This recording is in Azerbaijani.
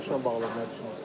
O yarışla bağlı nə düşünürsən?